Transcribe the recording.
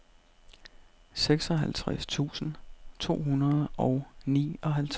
seksoghalvtreds tusind to hundrede og nioghalvtreds